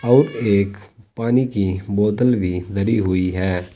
और एक पानी की बोतल भी धरी हुई है।